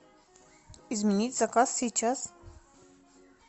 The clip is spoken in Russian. изменить заказ сейчас